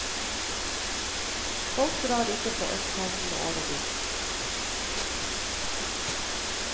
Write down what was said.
Folk drar ikke fra østkanten og over dit.